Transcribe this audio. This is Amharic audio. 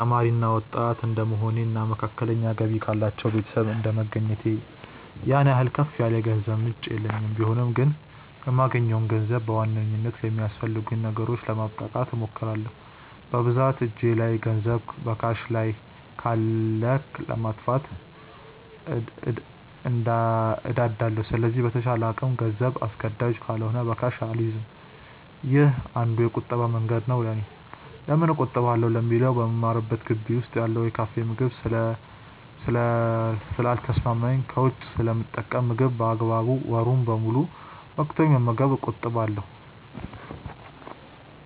ተማሪ እና ወጣት እድንደመሆኔ እና መካከለኛ ገቢ ካላቸው ቤተሰብ እንደመገኘቴ ያን ያህል ከፍ ያለ የገንዘብ ምንጭ የለኝም ቢሆንም ግን የማገኘውን ገንዘብ በዋናነት ለሚያስፈልጉኝ ነገሮች ለማብቃቃት እሞክራለው። በብዛት እጄ ላይ ገንዘብ በካሽ ካለ ለማጥፋት እንደዳለው ስለዚህ በተቻለ አቅም ገንዘብ አስገዳጅ ካልሆነ በካሽ አልይዝም። ይህ አንዱ የቁጠባ መንገዴ ነው ለኔ። ለምን እቆጥባለው ለሚለው በምማርበት ግቢ ውስጥ ያለው የካፌ ምግብ ስለ ልተሰማማኝ ከውጪ ስለምጠቀም ምግብ በአግባቡ ወሩን ሙሉ ብር በቅቶኝ ለመመገብ እቆጥባለው።